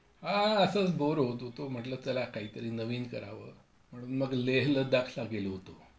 हो, असच बोअर होत होतो, म्हंटलं चला काहीतरी नवीन करावं म्हणून मग लेह लद्दाखला गेलो होतो.